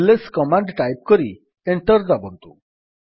is command type କରି enter ଦାବନ୍ତୁ